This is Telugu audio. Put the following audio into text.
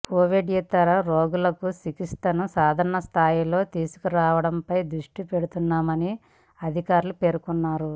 కోవిడ్యేతర రోగులకు చికిత్సలను సాధారణ స్థాయికి తీసుకురావడంపై దృష్టి పెడుతున్నామన్ని అధికారులు పేర్కొన్నారు